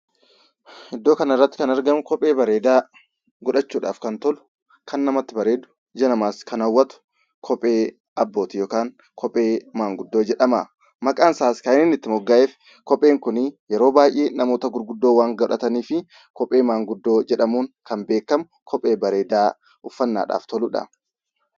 Iddoo kanarratti kan argamu kophee bareedaa godhachuudhaaf kan tolu kan namatti bareedu ija namaas kan hawwatu kophee abbootii yookaan kophee manguddoo jedhama. Maqaan isaas kan inni itti mogga'eef kopheen kun yeroo baay'ee namoota gurguddoon waan godhataniif kophee manguddoo jedhamuun kan beekamu kophee bareedaa uffannaadhaaf toludha.